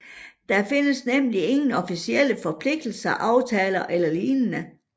Der findes nemlig ingen officielle forpligtende aftaler eller lignende